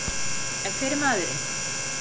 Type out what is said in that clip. En hver er maðurinn?